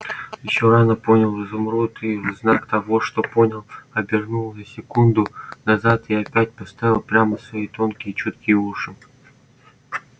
ещё рано понял изумруд и в знак того что понял обернул на секунду назад и опять поставил прямо свои тонкие чуткие уши